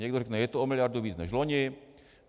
Někdo řekne: Je to o miliardu víc než loni.